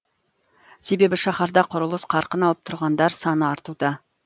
себебі шаһарда құрылыс қарқын алып тұрғындар саны артуда